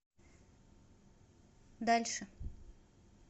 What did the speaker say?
дальше